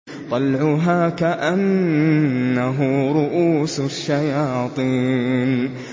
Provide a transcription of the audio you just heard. طَلْعُهَا كَأَنَّهُ رُءُوسُ الشَّيَاطِينِ